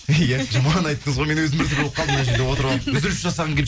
иә жаман айттыңыз ғой мен өзім біртүрлі болып қалдым мына жерде отырып алып үзіліс жасағым